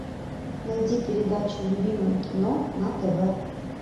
найди передачу любимое кино на тв